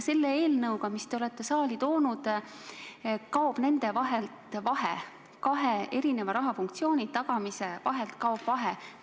Selle eelnõuga, mis te olete saali toonud, kaob nende vahelt vahe – kahe erineva funktsiooni tagamise vahelt kaob vahe.